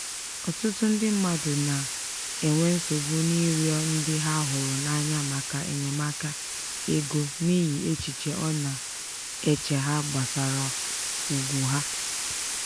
ọtụtụ ndị mmadụ na-enwe nsogbu n'ịrịọ ndị ha hụrụ n'anya maka enyemaka ego n'ihi echiche ọ na-eche ha gbasara ugwu ha.